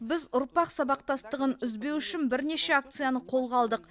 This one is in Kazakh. біз ұрпақ сабақтастығын үзбеу үшін бірнеше акцияны қолға алдық